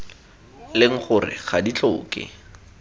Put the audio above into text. leng gore ga di tlhoke